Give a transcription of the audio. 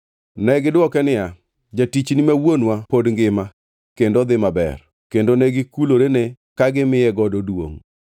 Negidwoke niya, “Jatichni ma wuonwa pod ngima kendo odhi maber.” Kendo negikulorene ka gimiyogo duongʼ.